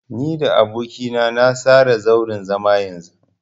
Ni da aboki na na tsara zauren zaman yanzu.